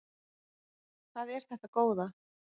Hvað er þetta góða!